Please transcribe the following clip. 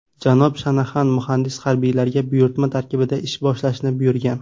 Janob Shanaxan muhandis harbiylarga buyurtma tarkibida ish boshlashni buyurgan.